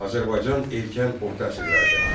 Azərbaycan erkən orta əsrlərdə.